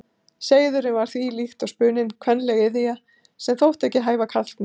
Seiðurinn var því, líkt og spuninn, kvenleg iðja, sem þótti ekki hæfa karlmönnum.